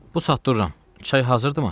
"Bu saat dururam, çay hazırdırmı?"